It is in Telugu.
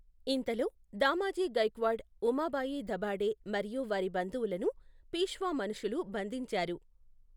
ఇంతలో, దామాజీ గైక్వాడ్, ఉమాబాయి దభాడే మరియు వారి బంధువులను పీష్వా మనషులు బంధించారు.